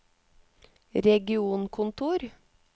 regionkontor